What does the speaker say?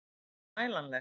Er hún mælanleg?